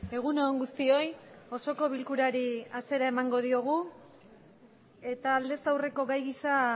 egun on guztioi osoko bilkurari hasiera emango diogu eta aldez aurreko gai gisa